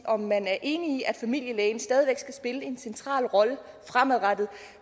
om man er enig i at familielægen stadig væk skal spille en central rolle fremadrettet